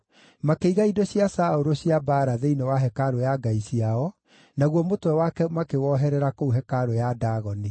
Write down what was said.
Makĩiga indo cia Saũlũ cia mbaara thĩinĩ wa hekarũ ya ngai ciao, naguo mũtwe wake makĩwoherera kũu hekarũ ya Dagoni.